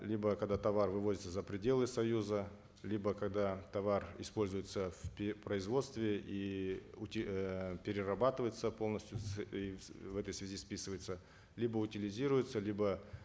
либо когда товар вывозится за пределы союза либо когда товар используется в производстве и эээ перерабатывается полностью и в этой связи списывается либо утилизируется либо